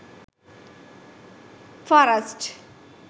forest